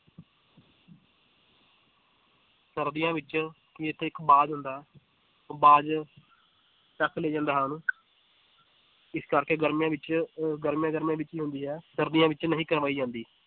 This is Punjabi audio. ਸਰਦੀਆਂ ਵਿੱਚ ਇੱਥੇ ਇੱਕ ਬਾਜ਼ ਹੁੰਦਾ ਹੈ ਉਹ ਬਾਜ਼ ਚਕ ਲੈ ਜਾਂਦਾ ਹੈ ਉਹਨੂੰ ਇਸ ਕਰਕੇ ਗਰਮੀਆਂ ਵਿੱਚ ਅਹ ਗਰਮੀਆਂ ਗਰਮੀਆਂ ਵਿੱਚ ਹੀ ਹੁੰਦੀ ਹੈ ਸਰਦੀਆਂ ਵਿੱਚ ਨਹੀਂ ਕਰਵਾਈ ਜਾਂਦੀ।